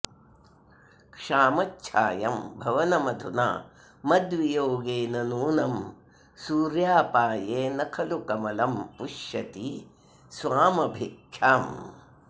क्षामच्छायं भवनमधुना मद्वियोगेन नूनं सूर्यापाये न खलु कमलं पुष्यति स्वामभिख्याम्